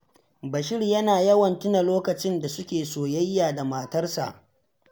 Bashir yana yawan tuna lokacin da suke soyayya da matarsa